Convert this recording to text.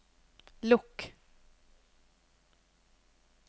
lukk